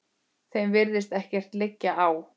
Þeim virðist ekkert liggja á.